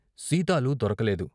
సీతాలు దొరకలేదు.